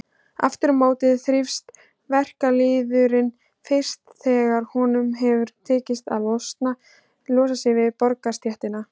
Aftur á móti þrífst verkalýðurinn fyrst þegar honum hefur tekist að losa sig við borgarastéttina.